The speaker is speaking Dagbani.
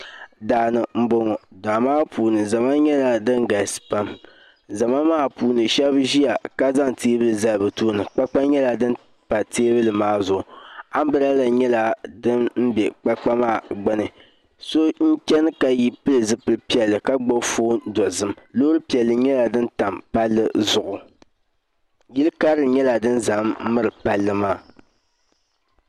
Daani n boŋo daa maa puuni zama nyɛla din galisi pam zama maa puuni shab ʒiya ka zaŋ teebuli zali bi tooni kpakpa nyɛla din pa teebuli maa zuɣu anbirɛla nyɛla din bɛ kpakpa maa gbuni so n chɛni ka pili zipili piɛlli ka gbubi foon dozim loori piɛlli nyɛla din tam palli zuɣu yili karili nyɛla din ʒɛ n miri palli maa